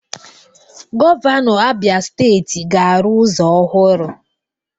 Gọvanọ Abia steeti ga na-arụ ụzọ ọhụrụ